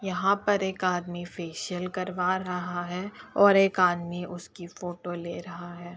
यहां पर एक आदमी फेशियल करवा रहा है और एक आदमी उसकी फोटो ले रहा है।